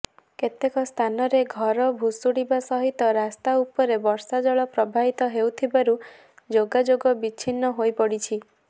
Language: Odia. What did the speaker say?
କେତେକ ସ୍ଥାନରେ ଘର ଭୁଶୁଡିବା ସହିତ ରାସ୍ତା ଉପରେ ବର୍ଷାଜଳ ପ୍ରବାହିତ ହେଉଥିବାରୁ ଯୋଗାଯୋଗ ବିଛିନ୍ନ ହୋଇପଡିଛି